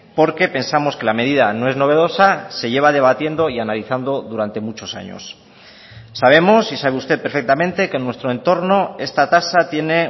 porque pensamos que la medida no es novedosa se lleva debatiendo y analizando durante muchos años sabemos y sabe usted perfectamente que en nuestro entorno esta tasa tiene